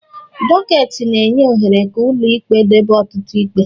Doketi na-enye ohere ka ụlọ ikpe debe ọtụtụ ikpe